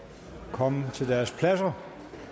komme til deres pladser